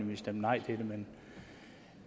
ville stemme nej til det men